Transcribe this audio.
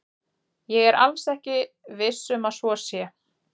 Ég er alls ekki viss um að svo sé.